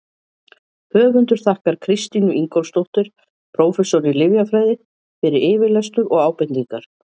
Höfundur þakkar Kristínu Ingólfsdóttur, prófessor í lyfjafræði, fyrir yfirlestur og ábendingar.